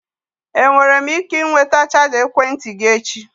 Enwere m ike ịnweta chaja ekwentị gị echi?